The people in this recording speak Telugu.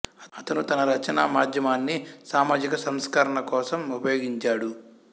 అతను తన రచనా మాధ్యమాన్ని సామాజిక సంస్కరణ కోసం ఉపయోగించాడు